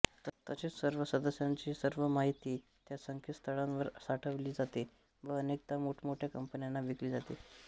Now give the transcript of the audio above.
तसेच सर्व सदस्यांची सर्व माहिती त्या संकेतस्थळांवर साठवली जाते व अनेकदा मोठमोठ्या कंपन्यांना विकली जाते